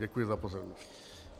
Děkuji za pozornost.